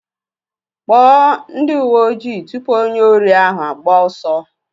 Kpọọ ndị uwe ojii tụpụ onye órí ahụ agbaa ọsọ.